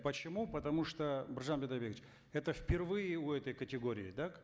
почему потому что биржан бидайбекович это впервые у этой категории так